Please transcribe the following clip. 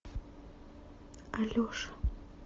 алеша